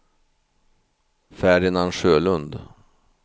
Ferdinand Sjölund